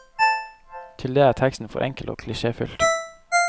Til det er teksten for enkel og klisjéfylt.